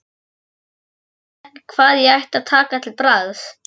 Ég vissi ekki hvað ég ætti að taka til bragðs.